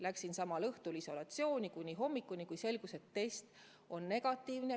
Läksin samal õhtul kuni hommikuni isolatsiooni, siis selgus, et test on negatiivne.